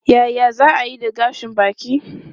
Yaya za a yi da gashin baki?